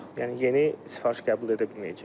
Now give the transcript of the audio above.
Yəni yeni sifariş qəbul edə bilməyəcək.